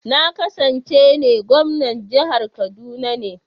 Na ƙasance ne gwamnan jihar kaduna ne.